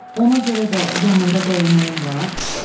Ona görə də yanında dəyənəyim var?